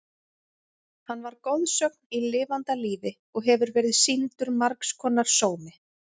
Hann var goðsögn í lifanda lífi og hefur verið sýndur margs konar sómi.